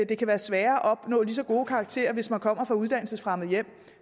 det kan være sværere at opnå lige så gode karakterer hvis man kommer fra uddannelsesfremmede hjem